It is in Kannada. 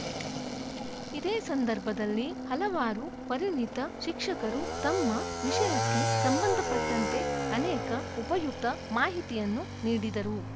ಇದೇ ಸಂದರ್ಭದಲ್ಲಿ ಹಲವಾರು ಪರಿಣಿತ ಶಿಕ್ಷಕರು ತಮ್ಮ ವಿಷಯಕ್ಕೆ ಸಂಬಂಧಪಟ್ಟಂತೆ ಅನೇಕ ಉಪಯುಕ್ತ ಮಾಹಿತಿಯನ್ನು ನೀಡಿದರು